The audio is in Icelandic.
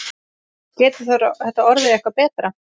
Getur þetta orðið eitthvað betra?